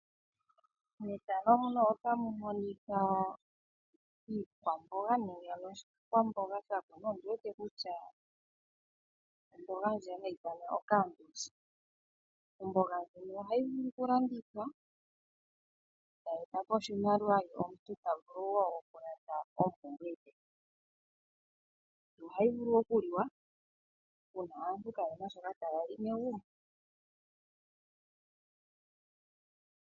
Iikwamboga nenge oshikwamboga sha kunwa, ndi wete kutya omboga. Omboga ndjika ohayi vulu okulandithwa e tayi e ta po oshimaliwa nomuntu ta vulu wo okulanda oompumbwe dhe. Ohayi vulu okuliwa uuna aantu kaye na shoka taya li megumbo.